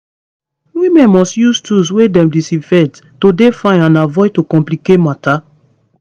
women must use tools wey dem disinfect to dey fine and avoid to complicate matter